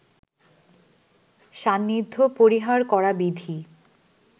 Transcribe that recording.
সান্নিধ্য পরিহার করা বিধি